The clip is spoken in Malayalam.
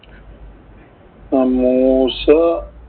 സമൂസ